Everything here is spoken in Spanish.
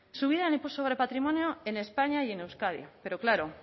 subida sobre patrimonio en españa y en euskadi pero claro